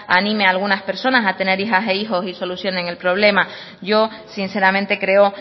anime a algunas personas a tener hijas e hijos y solucionen el problema yo sinceramente creo